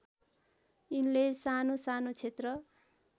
यिनले सानोसानो क्षेत्र